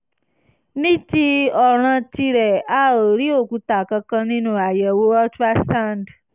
ní ti ọ̀ràn tìrẹ a ò rí òkúta kankan nínú àyẹ̀wò ultrasound